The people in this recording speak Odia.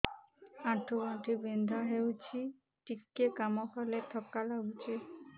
ଆଣ୍ଠୁ ଗଣ୍ଠି ବିନ୍ଧା ହେଉଛି ଟିକେ କାମ କଲେ ଥକ୍କା ଲାଗୁଚି